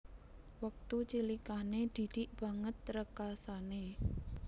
Wektu cilikane Didik banget rekasane